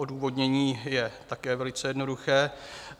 Odůvodnění je také velice jednoduché.